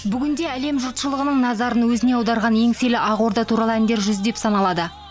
бүгінде әлем жұртшлығының назарын өзіне аударған еңселі ақорда туралы әндер жүздеп саналады